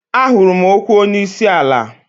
Ahụrụ m okwu onye isi ala.